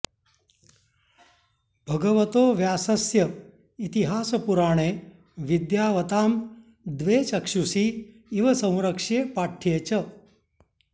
भगवतो व्यासस्य इतिहासपुराणे विद्यावतां द्वे चक्षुषी इव संरक्ष्ये पाठ्ये च